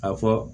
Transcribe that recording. A fɔ